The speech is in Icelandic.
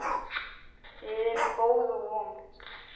Við erum góð og vond.